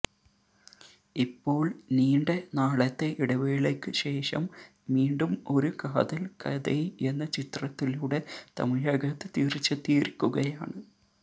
ഇപ്പോള് നീണ്ട നാളത്തെ ഇടവേളയ്ക്ക് ശേഷം മീണ്ടും ഒരു കാതല് കഥൈ എന്ന ചിത്രത്തിലൂടെ തമിഴകത്ത് തിരിച്ചെത്തിയിരിയ്ക്കുകയാണ്